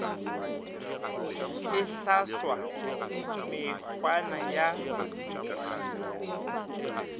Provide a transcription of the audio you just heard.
e hlaswa mekgwana ya ditšhila